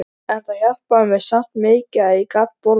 En það hjálpaði mér samt mikið að ég gat borðað.